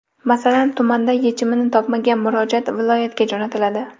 Masalan, tumanda yechimini topmagan murojaat viloyatga jo‘natiladi.